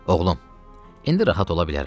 Oğlum, indi rahat ola bilərəm.